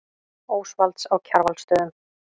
Ósvalds á Kjarvalsstöðum.